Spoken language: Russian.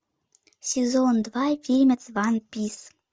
сезон два фильма ван пис